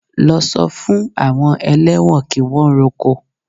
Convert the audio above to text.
Lọ sọ fún àwọn ẹlẹ́wọ̀n kí wọ́n roko!